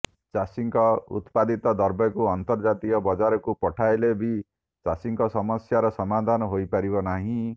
ଚାଷୀଙ୍କ ଉତ୍ପାଦିତ ଦ୍ରବ୍ୟକୁ ଅନ୍ତର୍ଜାତୀୟ ବଜାରକୁ ପଠାଇଲେ ବି ଚାଷୀଙ୍କ ସମସ୍ୟାର ସମାଧାନ ହୋଇପାରିବ ନାହିଁ